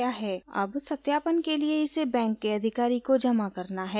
अब सत्यापन के लिए इसे बैंक के अधिकारी को जमा करना है